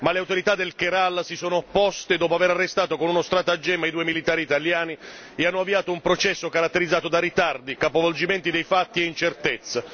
Ma le autorità del Kerala si sono opposte dopo aver arrestato con uno stratagemma i due militari italiani e hanno avviato un processo caratterizzato da ritardi, capovolgimenti dei fatti e incertezza.